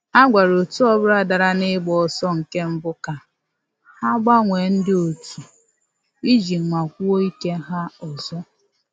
A gwara otu ọbụla dara na ịgba ọsọ nke mbụ ka ha gbanwee ndị otu iji nwakwuo ike ha ọzọ